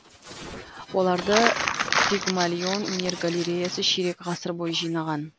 оларды пигмалион өнер галереясы ширек ғасыр бойы жинаған